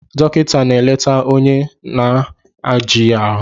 Dọkịta na-eleta onye na-ejighị ahụ